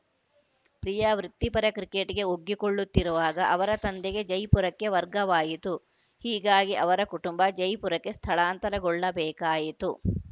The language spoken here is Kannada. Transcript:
ಪ್ರಿಯಾ ವೃತ್ತಿಪರ ಕ್ರಿಕೆಟ್‌ಗೆ ಒಗ್ಗಿಕೊಳ್ಳುತ್ತಿರುವಾಗ ಅವರ ತಂದೆಗೆ ಜೈಪುರಕ್ಕೆ ವರ್ಗವಾಯಿತು ಹೀಗಾಗಿ ಅವರ ಕುಟುಂಬ ಜೈಪುರಕ್ಕೆ ಸ್ಥಳಾಂತರಗೊಳ್ಳಬೇಕಾಯಿತು